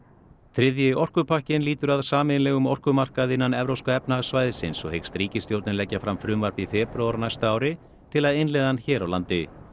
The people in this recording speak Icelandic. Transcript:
þriðji orkupakkinn lýtur að sameiginlegum orkumarkaði innan Evrópska efnahagssvæðisins og hyggst ríkisstjórnin leggja fram frumvarp í febrúar á næsta ári til að innleiða hann hér á landi